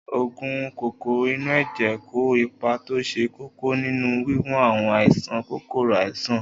Oògùn kòkòrò inú ẹ̀jẹ̀ kó ipa tó ṣe kókó nínú wíwo àwọn àìsàn kòkòrò sàn